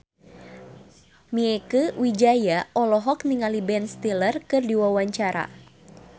Mieke Wijaya olohok ningali Ben Stiller keur diwawancara